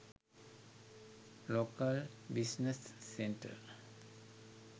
local business centre